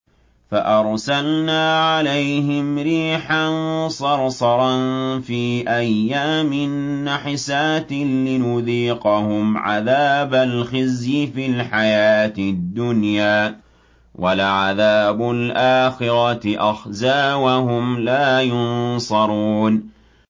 فَأَرْسَلْنَا عَلَيْهِمْ رِيحًا صَرْصَرًا فِي أَيَّامٍ نَّحِسَاتٍ لِّنُذِيقَهُمْ عَذَابَ الْخِزْيِ فِي الْحَيَاةِ الدُّنْيَا ۖ وَلَعَذَابُ الْآخِرَةِ أَخْزَىٰ ۖ وَهُمْ لَا يُنصَرُونَ